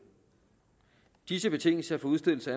disse betingelser for udstedelse